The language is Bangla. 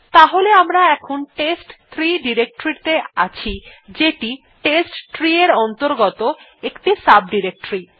তাহলে আমরা এখন টেস্ট3 ডিরেক্টরী ত়ে আছি যেটি টেস্টট্রি এর অন্তর্গত একটি সাব ডিরেক্টরী